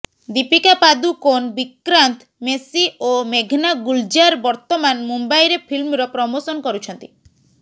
ଦୀପିକା ପାଦୁକୋନ୍ ବିକ୍ରାନ୍ତ ମେସି ଓ ମେଘନା ଗୁଲଜାର ବର୍ତ୍ତମାନ ମୁମ୍ବାଇରେ ଫିଲ୍ମର ପ୍ରମୋସନ୍ କରୁଛନ୍ତି